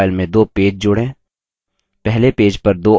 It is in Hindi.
अपनी draw file में दो पेज जोड़ें